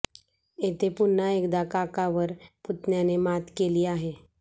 येथे पुन्हा एकदा काकावर पुतण्याने मात केली आहे